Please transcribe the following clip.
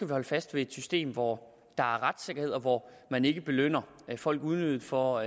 at holde fast i et system hvor der er retssikkerhed og hvor man ikke belønner folk unødigt for